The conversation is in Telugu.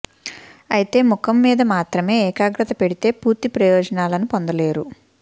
అయితే ముఖం మీద మాత్రమే ఏకాగ్రత పెడితే పూర్తి ప్రయోజనాలను పొందలేరు